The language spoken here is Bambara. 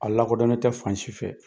A lakodɔnnen tɛ fan si fɛ.